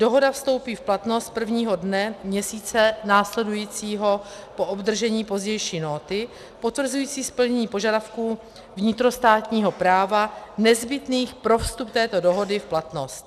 Dohoda vstoupí v platnost prvního dne měsíce následujícího po obdržení pozdější nóty potvrzující splnění požadavků vnitrostátního práva nezbytných pro vstup této dohody v platnost.